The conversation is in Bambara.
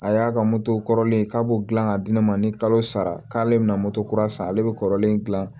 A y'a ka moto kɔrɔlen k'a b'o dilan k'a di ne ma ni kalo sara k'ale bɛna moto kura san ale bɛ kɔrɔlen gilan